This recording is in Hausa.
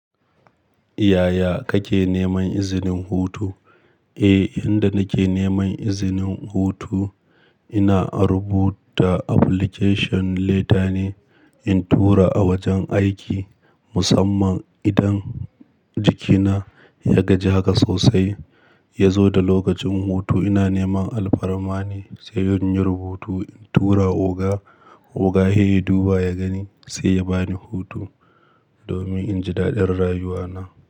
Yaya kake neman izinin hutu? Eh, inda nake neman izinin hutu ina rubuta application letter ne in tura a wajen aiki musamman idan jikina ya gaji haka sosai ya zo da lokacin hutu. Ina neman alfarma ne sai in yi rubutu in tura oga. Oga he ya duba ya gani sai ya bani hutu domin in ji daɗin rayuwana.